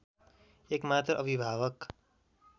एकमात्र अभिभावक